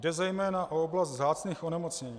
Jde zejména o oblast vzácných onemocnění.